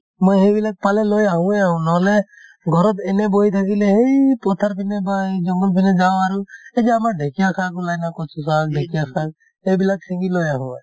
মই সেইবিলাক পালে লৈ আহোয়ে আহো নহলে ঘৰত এনে বহি থাকিলে সেই পথাৰ পিনে বা এই জংগল পিনে যাওঁ আৰু এই যে আমাৰ ঢেঁকিয়া শাক ওলাই ন কচু শাক ঢেঁকিয়া শাক সেইবিলাক ছিঙি লৈ আহো